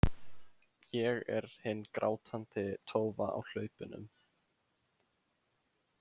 Ég er hin grátandi tófa á hlaupunum.